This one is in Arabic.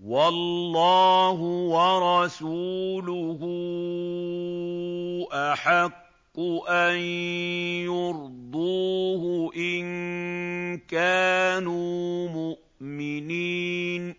وَاللَّهُ وَرَسُولُهُ أَحَقُّ أَن يُرْضُوهُ إِن كَانُوا مُؤْمِنِينَ